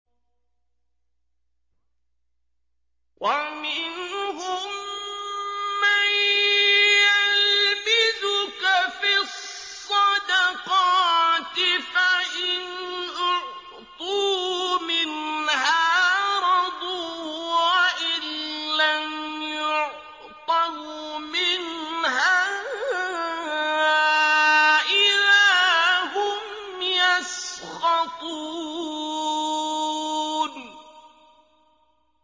وَمِنْهُم مَّن يَلْمِزُكَ فِي الصَّدَقَاتِ فَإِنْ أُعْطُوا مِنْهَا رَضُوا وَإِن لَّمْ يُعْطَوْا مِنْهَا إِذَا هُمْ يَسْخَطُونَ